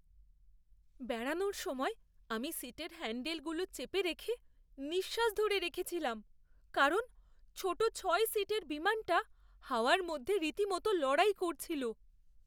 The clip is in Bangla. বেড়ানোর সময় আমি সিটের হ্যান্ডলগুলো চেপে রেখে নিঃশ্বাস ধরে রেখেছিলাম কারণ ছোট ছয় সিটের বিমানটা হাওয়ার মধ্যে রীতিমত লড়াই করছিল